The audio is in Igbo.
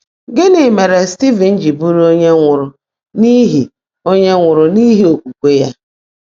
Gịnị mere Stivin ji bụrụ onye nwụrụ n’ihi onye nwụrụ n’ihi okwukwe ya?